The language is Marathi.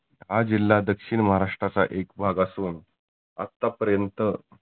हा जिल्हा दक्षीन महाराष्ट्राचा एक भाग असुन आता पर्यंत